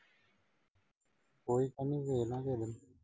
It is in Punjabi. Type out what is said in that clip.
ਉਹੀ ਤਾਂ ਇਨ੍ਹਾਂ ਨੂੰ ਸੀਗਾ।